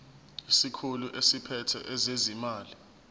isikhulu esiphethe ezezimali